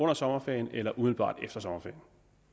af sommerferien eller umiddelbart efter sommerferien